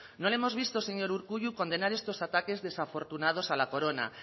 no le hemos visto señor urkullu condenar estos ataques desafortunados a la corona